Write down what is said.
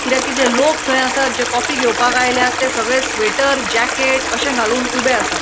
किद्याक किदे थैय लोक आसा जे कॉफी घेवपाक आयल्यात थैय सगळे स्वेटर जैकेट अशे घालून उबे आसात.